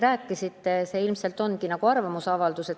Aga teie küsimus oli pigem arvamusavaldus.